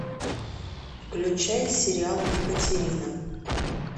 включай сериал екатерина